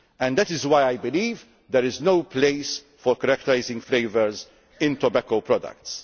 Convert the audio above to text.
That is why I believe there is no place for characterising flavours in tobacco products.